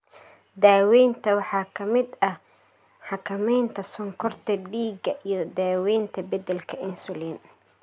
Daaweynta waxaa ka mid ah xakameynta sonkorta dhiigga iyo daaweynta beddelka insulin.